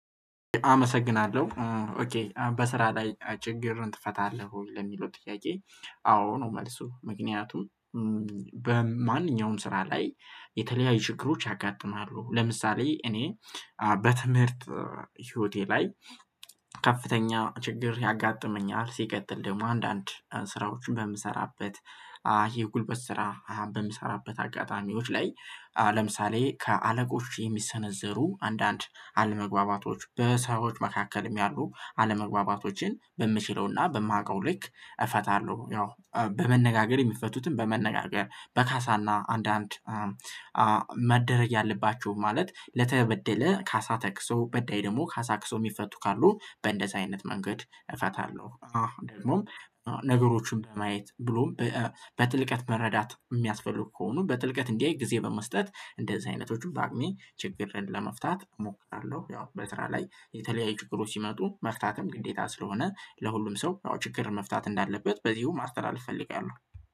አመሰግናለሁ ኦኬ በስራ ላይ ችግርን ትፈታለህ ወይ ለሚለው ጥያቄ? አዎ ነው መልሱ። ምክንያቱም በማንኛውም ስራ ላይ የተለያዩ ችግሮች ያጋጥማሉ። ለምሳሌ እኔ በትምህርት ህይወቴ ላይ ከፍተኛ ችግር ያጋጥመኛል። ሲቀጥል ደግሞ አንዳንድ ስራዎችን በምሰራበት ይሄ ጉልበት ስራ በምሰራበት አጋጣሚዎች ላይ ለምሳሌ ከአለቆች የሚሰነዘሩ አንዳንድ አለመግባባቶች በሰዎች መካከልም ያሉ አለመግባባቶችን በምችለውና በማውቀው ልክ እፈታለሁ። ያው በመነጋገር የሚፈቱትን በመነጋገር በካሳና አንዳንድ መደረግ ያለባቸው ማለት ለተበደለ ካሳ ተክሶ በዳይ ደግሞ ካሳክሶ የሚፈቱ ካሉ በእንደዚህ አይነት መንገድ እፈታለሁ። አሁን ደግሞ ነገሮችን በማየት ብሎም በጥልቀት መረዳት የሚያስፈልግ ከሆኑ በጥልቀት እንዲያይ ጊዜ በመስጠት እንደዚህ አይነቶችን በአቅሜ ችግርን ለመፍታት እሞክራለሁ። ያው በስራ ላይ የተለያዩ ችግሮች ሲመጡ መፍታትም ግዴታ ስለሆነ ለሁሉም ሰው ያው ችግር መፍታት እንዳለበት በዚሁ ማስተላለፍ ፈልጋለሁ